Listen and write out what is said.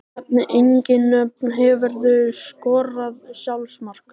Nefni engin nöfn Hefurðu skorað sjálfsmark?